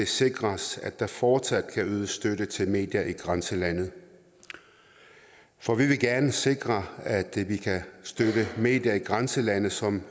sikres at der fortsat kan ydes støtte til medier i grænselandet for vi vil gerne sikre at vi kan støtte medier i grænselandet som